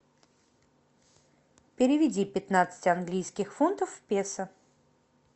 переведи пятнадцать английских фунтов в песо